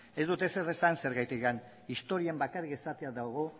ez dut ezer esan zergatik historian bakarrik esatea dago